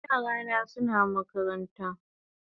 Yara na suna makaranta